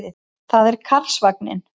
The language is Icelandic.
Það er Karlsvagninn.